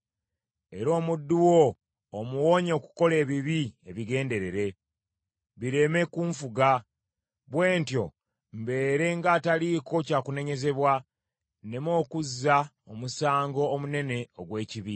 Era omuddu wo omuwonye okukola ebibi ebigenderere, bireme kunfuga. Bwe ntyo mbeere ng’ataliiko kyakunenyezebwa nneme okuzza omusango omunene ogw’ekibi.